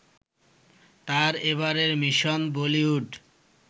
তার এবারের মিশন বলিউড